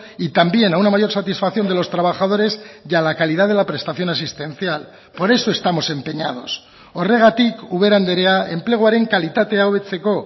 y también a una mayor satisfacción de los trabajadores y a la calidad de la prestación asistencial por eso estamos empeñados horregatik ubera andrea enpleguaren kalitatea hobetzeko